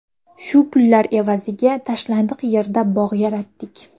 Shu pullar evaziga tashlandiq yerda bog‘ yaratdik.